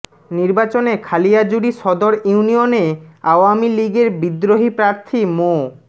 নির্বাচনে খালিয়াজুরি সদর ইউনিয়নে আওয়ামী লীগের বিদ্রোহী প্রার্থী মো